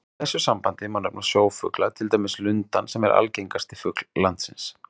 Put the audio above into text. Í þessu sambandi má nefna sjófugla, til dæmis lundann sem er algengasti fugl landsins.